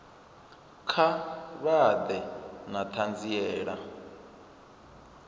kha vha ḓe na ṱhanziela